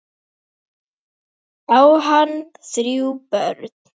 Á hann þrjú börn.